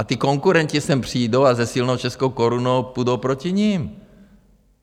A ti konkurenti sem přijdou a se silnou českou korunou půjdou proti nim.